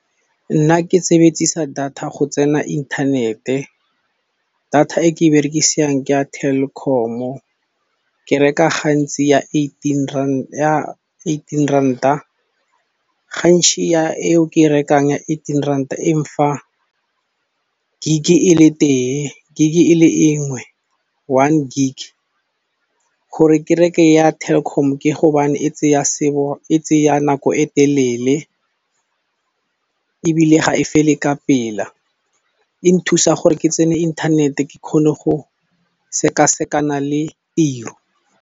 Nna ke sebedisa data go tsena inthanete, data e ke e berekisang ke ya Telkom-o ke reka gantsi ya eighteen rand, ya eighteen ranta gantsi ya eo ke e rekang ya eighteen ranta e mfa gig e le tee, gig e le enngwe, one gig. Gore ke reke ya Telkom ke hobane e tseya nako e telele ebile ga e fele ka pela. E nthusa gore ke tsene internet ke kgone go sekasekana le tiro.